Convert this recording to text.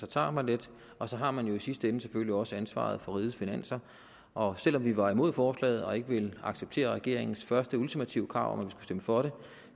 tager lidt og så har man jo i sidste ende selvfølgelig også ansvaret for rigets finanser og selv om vi var imod forslaget og ikke ville acceptere regeringens første ultimative krav om stemme for det